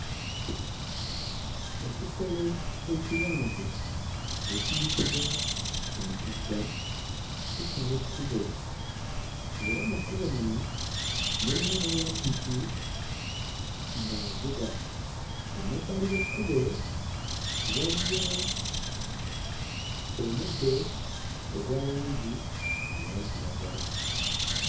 Ekisolo ekiwanvu ekiyitibwa entugga kisala ekkubo era mu kkubo muno mulimu n'owa ppiki ng'avuga. Emabbali g'ekkubo waliyo omuddo ogwa langi eya kiragala.